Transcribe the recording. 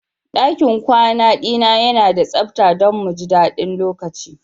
Dakin kwana dina yana da sabta don mu ji daɗin lokacin.